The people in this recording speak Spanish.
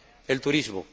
El turismo.